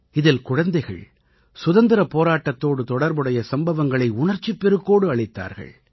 இதில் குழந்தைகள் சுதந்திரப் போராட்டத்தோடு தொடர்புடைய சம்பவங்களை உணர்ச்சிப் பெருக்கோடு அளித்தார்கள்